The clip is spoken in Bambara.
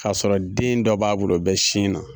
K'a sɔrɔ den dɔ b'a bolo o bɛ sin na.